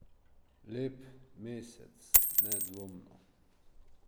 Lep mesec, nedvomno.